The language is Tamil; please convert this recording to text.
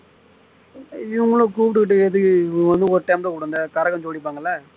இவங்கள கூப்பிட்டுகிட்டு எதுக்கு இவங்க வந்து ஒரு time தான் கூப்பிடுவோம் இந்த கரகம் ஜோடிப்பாங்க இல்லை